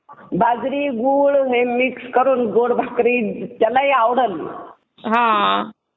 बाजरी गुळहे मिक्स करून गोड भाकरी त्यालाही आवडल